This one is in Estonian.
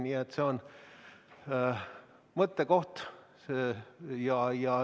Nii et see on mõttekoht.